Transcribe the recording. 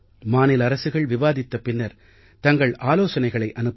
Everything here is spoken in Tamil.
மாநில அரசுகள் விவாதித்த பின்னர் தங்கள் ஆலோசனைகளை அனுப்பட்டும்